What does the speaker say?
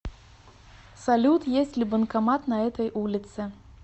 салют есть ли банкомат на этой улице